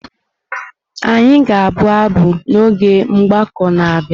Anyị ga-abụ abụ n’oge mgbakọ na-abịa.